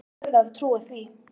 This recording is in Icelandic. Ég verð að trúa því.